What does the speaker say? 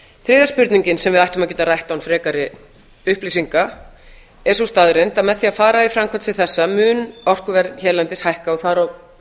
þriðja spurningin sem við ættum að geta rætt án frekari upplýsinga er sú staðreynd að með því að fara í framkvæmd sem þessa mun orkuverð hérlendis hækka og